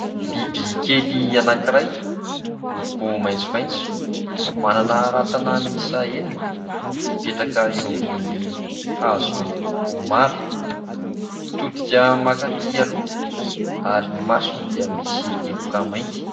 Biby kely anankiray, miloko maitsomaitso, manana rantsana miisa enina, mipetraka eo ambonin'ny hazo miloko mara, mitodika mankaty aloha ary ny masony dia misy teboka mainty.